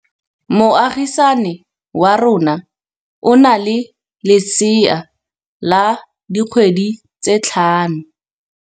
Moagisane wa rona o na le lesea la dikgwedi tse tlhano.